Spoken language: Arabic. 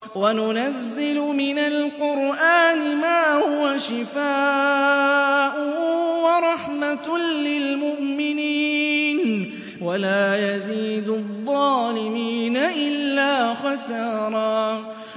وَنُنَزِّلُ مِنَ الْقُرْآنِ مَا هُوَ شِفَاءٌ وَرَحْمَةٌ لِّلْمُؤْمِنِينَ ۙ وَلَا يَزِيدُ الظَّالِمِينَ إِلَّا خَسَارًا